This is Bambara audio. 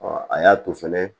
a y'a to fɛnɛ